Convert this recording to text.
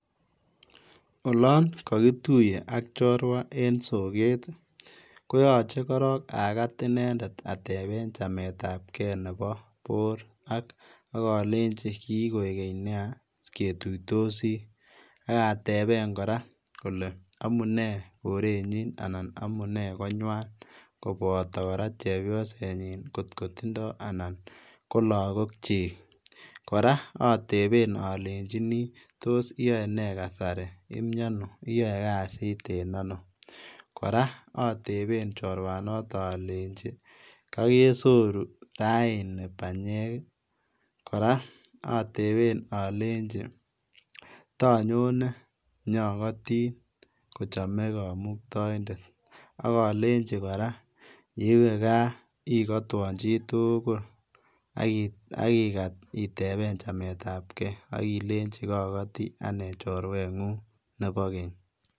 Olon kokituiye ak chorwa en soket koyoche korong akat inendet atepen chametabge nepo bor ak akolenji kikoik keny nia ketuitosi, ak ateben kora kole amunee korenyin anan amunee konywan koboto kora chepiosenyin ng'ot kotindoo anan ko lokokyik, kora ateben alenjin iyoenee kasari, iyoe kasit en ano kora ateben chorwanato alenjin kokesoru raa panyek kora atebe aleji tonyone akotin kochome kamuktaindet akolenji kora yeiwe kaa ikotwon chitugul akikat itepen chametabge akilenji kokoti anyun chorweng'ung nepo keny.